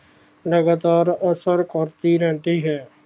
ਲਗਾਤਾਰ ਅਸਰ ਕਰਦੀ ਰਹਿੰਦੀ ਹੈ